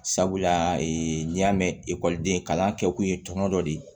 Sabula n'i y'a mɛn ekɔliden kalan kɛ kun ye tɔnɔ dɔ de ye